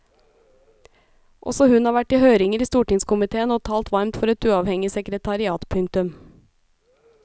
Også hun har vært i høringer i stortingskomitéen og talt varmt for et uavhengig sekretariat. punktum